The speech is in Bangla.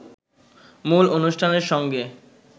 মূল অনুষ্ঠানের সঙ্গে